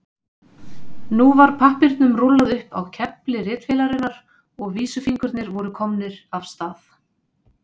Nú var pappírnum rúllað upp á kefli ritvélarinnar og vísifingurnir voru komnir af stað.